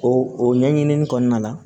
O o ɲɛɲini kɔnɔna la